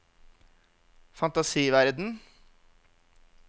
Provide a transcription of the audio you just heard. fantasiverden